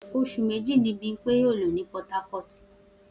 Oṣù méjì ni Bímpé yóò lò ní Port Harcourt